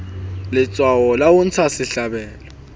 letshwao la ho intsha sehlabelo